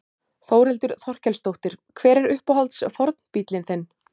Þórhildur Þorkelsdóttir: Hver er uppáhalds fornbíllinn þinn?